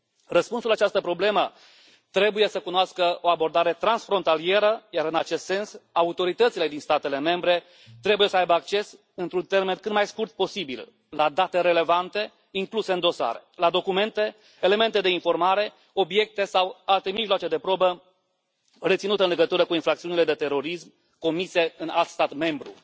Răspunsul la această problemă trebuie să cunoască o abordare transfrontalieră, iar, în acest sens, autoritățile din statele membre trebuie să aibă acces într un termen cât mai scurt posibil la date relevante incluse în dosare, la documente, elemente de informare, obiecte sau alte mijloace de probă reținute în legătură cu infracțiunile de terorism comise în alt stat membru.